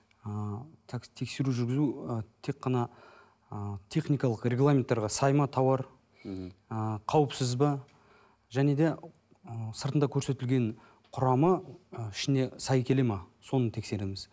ы тексеру жүргізу ы тек қана ы техникалық регламенттерге сай ма тоуар ы қауіпсіз бе және де ы сыртында көрсетілген құрамы ішіне сай келеді ме соны тексереміз